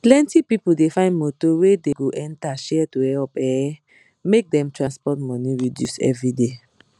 plenti people dey find motor wey dey go enter share to help um make dem transport money reduce everyday